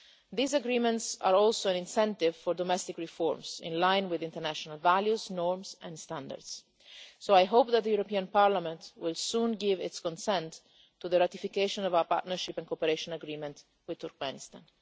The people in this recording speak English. These agreements are also an incentive for domestic reforms, in line with international values, norms and standards, so I hope that the European Parliament will soon give its consent to the ratification of our Partnership and Cooperation Agreement with Turkmenistan.